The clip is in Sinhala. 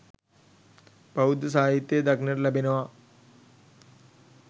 බෞද්ධ සාහිත්‍යයේ දක්නට ලැබෙනවා.